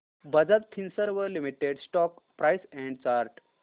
Bajaj Finserv limited stock price and chart